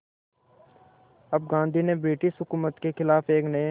अब गांधी ने ब्रिटिश हुकूमत के ख़िलाफ़ एक नये